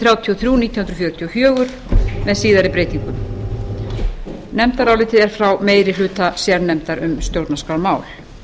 þrjátíu og þrjú nítján hundruð fjörutíu og fjögur með síðari breytingum nefndar álitið er frá meiri hluta sérnefndar um stjórnarskrármál